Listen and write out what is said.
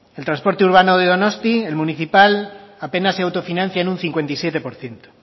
el transporte urbano de donosti el municipal apenas se autofinancia en una cincuenta y siete por ciento